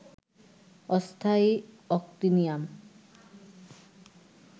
অস্থায়ী অ্যাক্টিনিয়াম